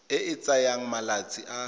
e e tsayang malatsi a